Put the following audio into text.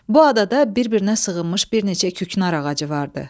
Bu adada bir-birinə sığınmış bir neçə küknar ağacı vardı.